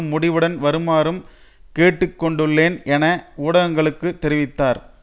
முடிவுடன் வருமாறும் கேட்டுக்கொண்டுள்ளேன் என ஊடகங்களுக்கு தெரிவித்தார்